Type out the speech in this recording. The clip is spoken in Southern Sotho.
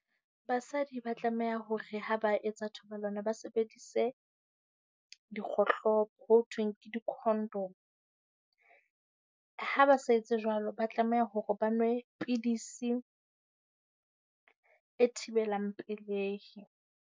Basadi ba tlameha hore ha ba etsa thobalano, ba sebedise dikgohlopo ho thweng ke dikhondomo. Ha ba sa etse jwalo, ba tlameha hore ba nwe pidisi e thibelang pelehi.